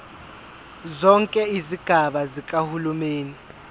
zonke izigaba zikahulumeni